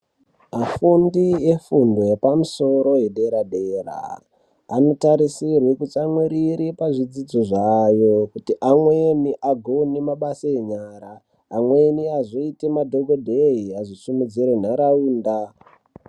Vafundi efundo yepamusoro yedera dera anotasirwe kutsamwirire pazvifundo zvavo kuti amweni agone mabasa enyara amweni azoite madhokodheye azosimudzire nharaunda.